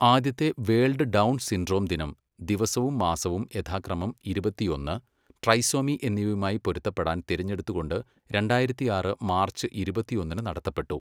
ആദ്യത്തെ world Down syndrome ദിനം ദിവസവും മാസവും യഥാക്രമം ഇരുപത്തിയൊന്ന്, ട്രൈസോമി എന്നിവയുമായി പൊരുത്തപ്പെടാൻ തിരഞ്ഞെടുത്തുകൊണ്ട് രണ്ടായിരത്തിയാറ് മാർച്ച് ഇരുപത്തിയൊന്നിന് നടത്തപ്പെട്ടു.